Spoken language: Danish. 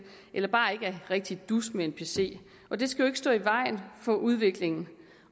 eller som bare ikke er rigtig dus med en pc og det skal jo stå i vejen for udviklingen